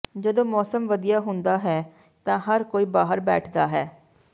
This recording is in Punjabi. ਜਦੋਂ ਮੌਸਮ ਵਧੀਆ ਹੁੰਦਾ ਹੈ ਤਾਂ ਹਰ ਕੋਈ ਬਾਹਰ ਬੈਠਦਾ ਹੈ